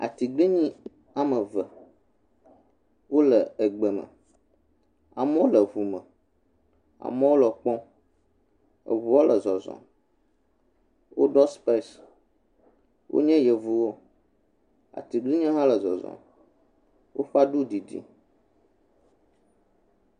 Atiglinyi aɖe woame eve, wole egbe me, amewo le ŋu me, amewo le wo kpɔm, eŋuwo le zɔzɔm, woɖɔ spɛs, wonye yevuwo, atiglinyie hã le zɔzɔm, woƒe aɖu didi.